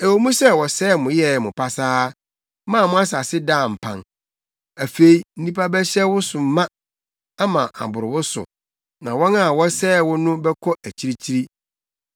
“Ɛwɔ mu sɛ wɔsɛee mo yɛɛ mo pasaa maa mo asase daa mpan, afei nnipa bɛhyɛ wo so ma, ama aboro wo so, na wɔn a wɔsɛee wo no bɛkɔ akyirikyiri.